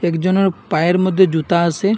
একজনার পায়ের মধ্যে জুতা আসে।